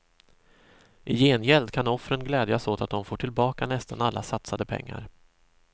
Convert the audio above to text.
I gengäld kan offren glädjas åt att de får tillbaka nästan alla satsade pengar.